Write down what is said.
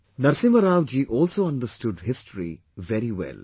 Narasimha Rao ji also understood history very well